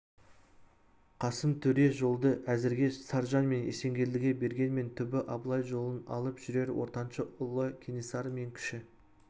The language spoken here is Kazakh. қасым төре жолды әзірге саржан мен есенгелдіге бергенмен түбі абылай жолын алып жүрер ортаншы ұлы кенесары мен кіші